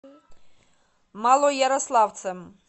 малоярославцем